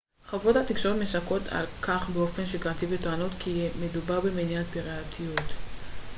חברות התקשורת משקרות על כך באופן שגרתי וטוענות כי מדובר במניעת פיראטיות